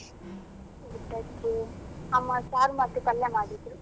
ಊಟಕ್ಕೆ ಅಮ್ಮ ಸಾರು ಮತ್ತು ಪಲ್ಯ ಮಾಡಿದ್ರು.